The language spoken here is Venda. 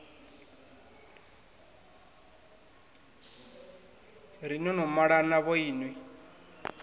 ri no no malana vhoinwi